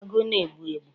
Agụ na-egbu egbu